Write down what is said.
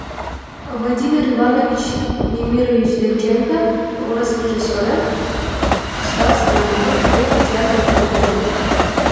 владимир иванович немирович данченко орыс режиссері ұстаз драматург және театр қайраткері